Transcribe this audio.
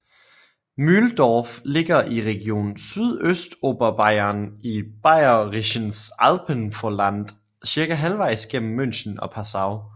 Mühldorf ligger i region Sydøstoberbayern i Bayerisches Alpenvorland cirka halvejs mellem München og Passau